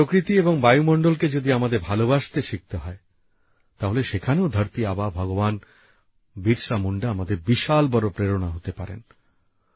প্রকৃতি এবং বায়ুমন্ডল কে যদি আমাদের ভালবাসতে শিখতে হয় তাহলে সেখানেও ধরতি আবা ভগবান বিরসা মুন্ডা আমাদের বিশাল বড় প্রেরণা হতে পারেন